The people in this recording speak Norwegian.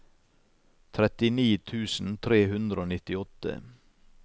trettini tusen tre hundre og nittiåtte